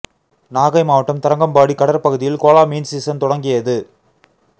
நாகை மாவட்டம் தரங்கம்பாடி கடற்பகுதியில் கோலா மீன் சீசன் தொடங்கியது